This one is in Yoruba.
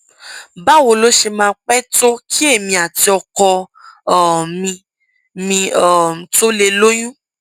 báwo ló ṣe máa pẹ tó kí èmi àti ọkọ um mi mi um tó lè lóyún